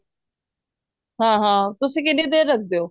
ਹਾਂ ਹਾਂ ਉਸੀ ਕਿੰਨੀ ਦੇਰ ਰੱਖਦੇ ਓ